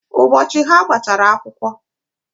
Ụbọọchi oge ha gbachara akwukwo,